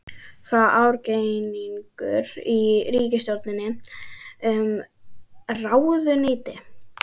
Er ágreiningur í ríkisstjórninni um ráðuneytið?